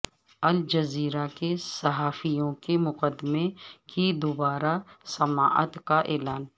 Al Jazeera کے صحافیوں کے مقدمے کی دوبارہ سماعت کا اعلان